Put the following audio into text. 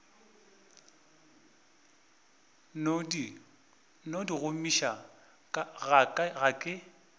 no di gomiša ga ke